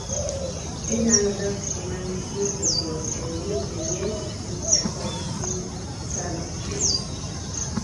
ginyalo dak kuma nitie pogruok e liet, ng'ich kod feed subtrate